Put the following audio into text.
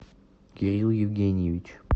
кирилл евгеньевич